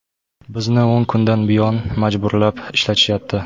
Bizni o‘n kundan buyon majburlab ishlatishyapti.